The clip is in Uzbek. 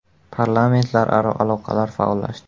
Parlamentlararo aloqalar faollashdi.